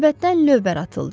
Səbətdən lövbər atıldı.